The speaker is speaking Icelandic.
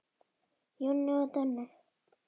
Jói og Denni.